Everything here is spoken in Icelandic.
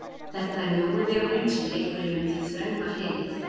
þetta er mjói vegurinn, sem liggur inn um hið þröngva hliðið.